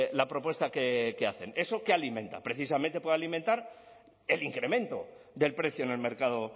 la propuesta que hacen eso qué alimenta precisamente puede alimentar el incremento del precio en el mercado